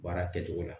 Baara kɛcogo la